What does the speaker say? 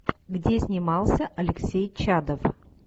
где снимался алексей чадов